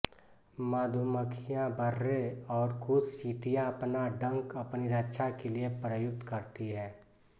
मधुमक्खियाँ बर्रे और कुछ चींटियाँ अपना डंक अपनी रक्षा के लिए प्रयुक्त करती हैं